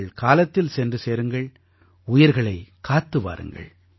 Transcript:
நீங்கள் காலத்தில் சென்று சேருங்கள் உயிர்களைக் காத்து வாருங்கள்